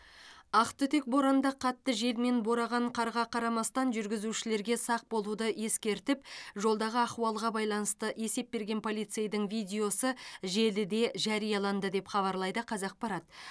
ақтүтек боранда қатты жел мен бораған қарға қарамастан жүргізушілерге сақ болуды ескертіп жолдағы ахуалға байланысты есеп берген полицейдің видеосы желіде жарияланды деп хабарлайды қазақпарат